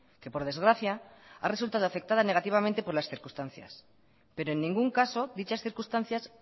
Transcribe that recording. que por desgracia ha resultado afectada negativamente por las circunstancias pero en ningún caso dichas circunstancias